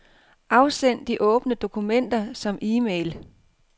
Afsend de åbne dokumenter som e-mail.